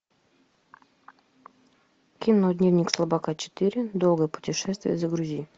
кино дневник слабака четыре долгое путешествие загрузи